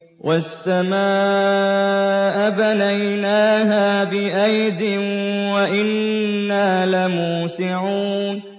وَالسَّمَاءَ بَنَيْنَاهَا بِأَيْدٍ وَإِنَّا لَمُوسِعُونَ